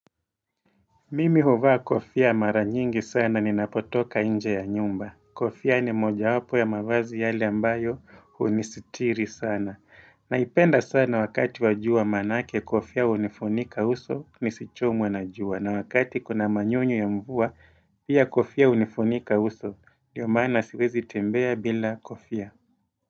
Mimi huvaa kofia mara nyingi sana ninapotoka nje ya nyumba. Kofia ni mojawapo ya mavazi yale ambayo hunisitiri sana. Naipenda sana wakati wajua manake kofia unifunika uso, nisichomwe na jua. Na wakati kuna manyunyu ya mvua, pia kofia unifunika uso. Ndio maana siwezi tembea bila kofia.